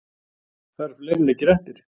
Það eru fleiri leikir eftir